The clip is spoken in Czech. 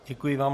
Děkuji vám.